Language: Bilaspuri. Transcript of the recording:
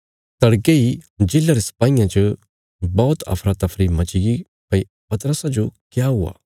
तड़के इ जेल्ला रे सपाहियां च बौहत अफरा तफरी मचीगी भई पतरसा जो क्या हुआ